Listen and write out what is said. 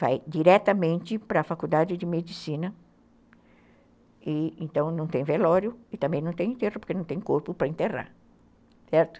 Vai diretamente para a faculdade de medicina e então não tem velório e também não tem enterro porque não tem corpo para enterrar, certo?